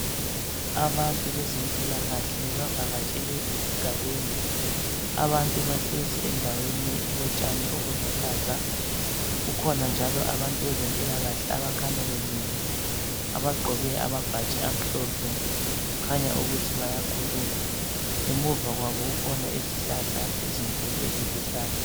Abantu bezemphilakahle bavakateshele esigabeni. Abantu bahlezi endaweni elotshani obuluhlaza. kukhona njalo abantu bezemphilakahle abakhanya bemile abagqoke amabhatshi amhlophe, kukhanya ukuthi bayakhuluma. Ngemva kwabo kukhona izihlahla ezikhulu eziluhlaza.